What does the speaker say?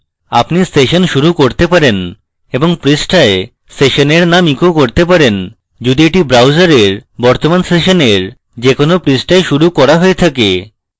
আপনি session শুরু করতে পারেন এবং পৃষ্ঠায় সেশনের name echo করতে পারেন যদি এটি browser বর্তমান সেশনের যে কোনো পৃষ্ঠায় শুরু করা হয়ে থাকে